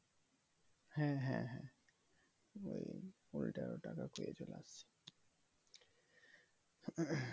হ্যাঁ হ্যাঁ হ্যাঁ ওই ওইটারি টাকা পেয়েছে last